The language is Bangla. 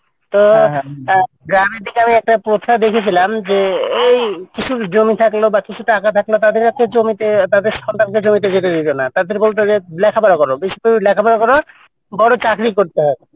তো গ্রামের দিকে আমি একটা প্রথা দেখেছিলাম এই কিছুর জমি থাকলো বা টাকা থাকলো তাদের একটা জমিতে তাদের সন্তান কে জমিতে যেতে দিত না তাদের বলতো লেখাপড়া করো ভালো করে লেখা পড়া করো বড় চাকরি করতে হবে।